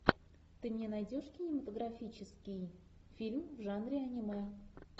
ты мне найдешь кинематографический фильм в жанре аниме